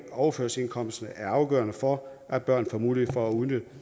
overførselsindkomsterne er afgørende for at børn får mulighed for at udnytte